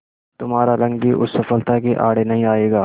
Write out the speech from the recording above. तुम्हारा रंग भी उस सफलता के आड़े नहीं आएगा